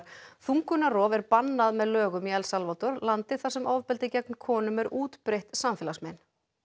þungunarrof er bannað með lögum í El Salvador landi þar sem ofbeldi gegn konum er útbreitt samfélagsmein